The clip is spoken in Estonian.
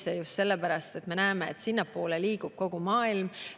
Seda just sellepärast, et sinnapoole liigub kogu maailm.